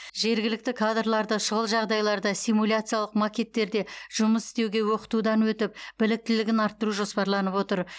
жергілікті кадрларды шұғыл жағдайларда симуляциялық макеттерде жұмыс істеуге оқытудан өтіп біліктілігін арттыру жоспарланып отыр